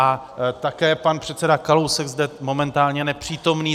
A také pan předseda Kalousek, zde momentálně nepřítomný.